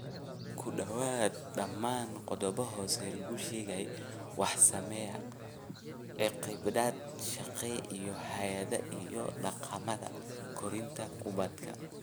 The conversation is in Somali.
Ku dhawaad ??dhammaan qodobbada hoos lagu sheegay waxaa saameeya caqiidada shaqsiga iyo hay'adaha iyo dhaqamada korinta ubadka.